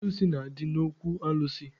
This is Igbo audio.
Alụsị na-adị n'okwu alụsị.